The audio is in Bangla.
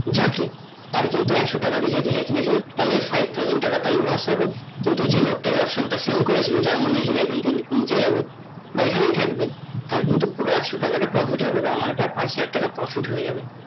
যাকে তার কিন্তু একশ টাকা টা কিনেছে তাহলে five thousand টাকা টা loss হবে কিন্তু যে লোকটা এই option টা fail করেছে যার মনে হয়েছে টা নিচে যাবে বা এখানেই থাকবে তার কিন্তু পুরো একশ টাকাটা profit হবে তার মানে ইটা পাঁচ হাজার টাকা profit হয়ে যাবে